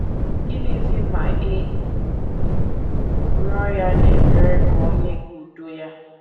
Gịnịzi ma ị rịọ ya n’ekpere ka o nye gị udo ya?